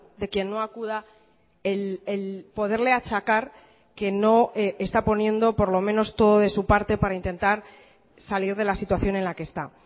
de quien no acuda el poderle achacar que no está poniendo por lo menos todo de su parte para intentar salir de la situación en la que está